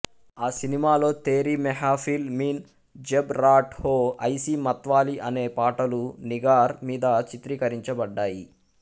ఆ సినిమాలో తేరీ మెహఫిల్ మీన్ జబ్ రాట్ హో ఐసీ మత్వాలీ అనే పాటలు నిగార్ మీద చిత్రీకరించబడ్డాయి